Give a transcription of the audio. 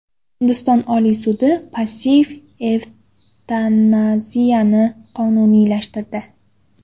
Hindiston Oliy sudi passiv evtanaziyani qonuniylashtirdi.